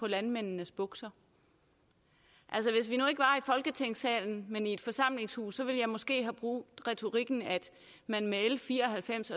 landmændenes bukser altså hvis vi folketingssalen men i et forsamlingshus ville jeg måske have brugt retorikken at man med l fire og halvfems